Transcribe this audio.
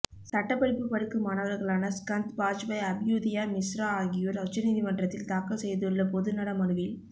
சட்டப்படிப்பு படிக்கும் மாணவர்களான ஸ்கந்த் பாஜ்பாய் அப்யுதயா மிஸ்ரா ஆகியோர் உச்ச நீதிமன்றத்தில் தாக்கல் செய்துள்ள பொது நல மனுவில்